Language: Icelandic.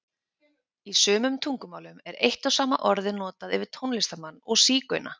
Í sumum tungumálum er eitt og sama orðið notað yfir tónlistarmann og sígauna.